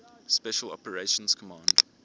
special operations command